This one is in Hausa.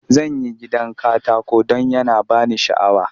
Zan yi gidan katako don yana ba ni sha'awa.